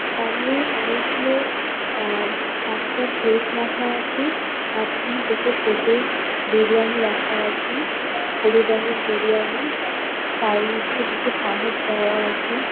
সামনে অনেকগুলো আ- পাঁচটা প্লেট রাখা আছে। মাঝখানে দুটো প্লেট -এ বিরিয়ানি রাখা আছে। হলুদ রঙের বিরিয়ানি । তার মধ্যে দুটো চামচ দেওয়া আছে।